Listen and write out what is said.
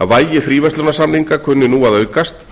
að vægi fríverslunarsamninga kunni nú að aukast